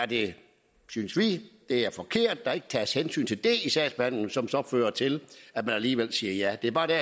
det er forkert at der ikke tages hensyn til det i sagsbehandlingen som så fører til at man alligevel siger ja det er bare der